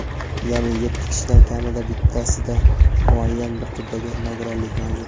yaʼni yetti kishidan kamida bittasida muayyan bir turdagi nogironlik mavjud.